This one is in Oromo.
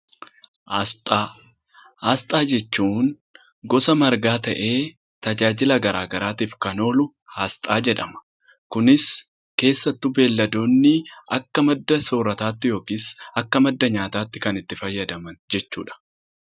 Aasxaa. Aasxaa jechuun gosa margaa ta'ee tajaajila garaa garaatif kan oolu asxaa jedhama. Kunis keessattuu beelladoonni akka madda soorataatti yookis akka madda nyaataatti kan itti fayyadaman jechuudha.